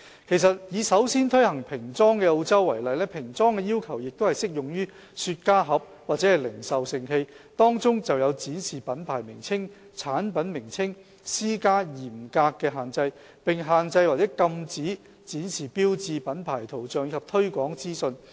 其實，以首先推行平裝的澳洲為例，平裝的要求亦適用於雪茄盒或零售盛器，當中有就展示品牌名稱和產品名稱施加嚴格的限制，並限制或禁止展示標誌、品牌圖像及推廣資訊。